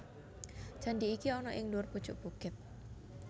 Candhi iki ana ing dhuwur pucuk bukit